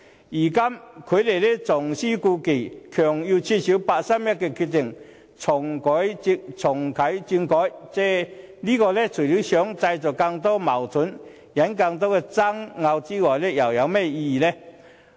如今他們重施故技，強行要求撤銷八三一的決定，重啟政改，這除了會製造更多的矛盾及引起更多的爭拗外，又有甚麼意義？